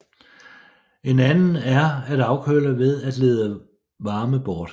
En anden er at afkøle ved at lede varme bort